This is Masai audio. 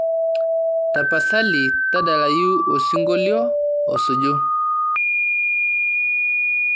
tapasali tadalayu osingolio osuju